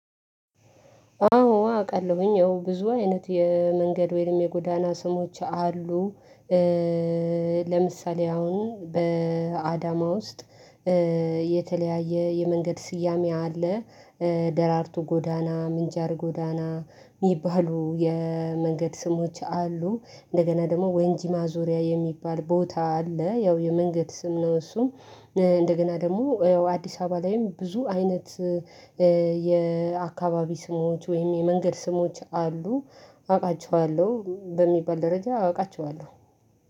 አዎ አውቃለሁ ያው ብዙ አይነት የመንገድ ወይም የጎዳና ስሞች አሉ። ለምሳሌ አሁን በአዳማ ውስጥ የተለያየ የመንገድ ስያሜ አለ። ደራርቱ ጎዳና ምንጃር ጎዳና የሚባሉ የመንገድ ስሞች አሉ። እንደገና ደግሞ ወንጂ ማዞሪያ የሚባል ቦታ አለ ያው የመንገድ ስም ነው እሱም። እንደገና ደግሞ አዲስ አበባ ላይም ብዙ አይነት። የአከባቢ ስሞች ወይም የመንገድ ስሞች አሉ። አውቃቸዋለሁ በሚባል ደረጃ አውቃቸዋለሁ።